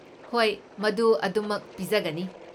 ꯍꯣꯏ, ꯃꯗꯨ ꯑꯗꯨꯝꯃꯛ ꯄꯤꯖꯒꯅꯤ꯫